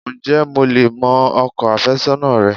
Ǹjé mo lè mọ ọkọ àfésónà rẹ?